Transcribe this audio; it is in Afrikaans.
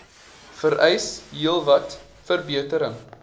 vereis heelwat verbetering